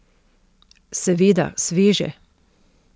Seveda sveže!